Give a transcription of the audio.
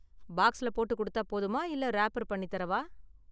பாக்ஸ்ல போட்டு கொடுத்தா போதுமா இல்ல ராப்பர் பண்ணி தரவா?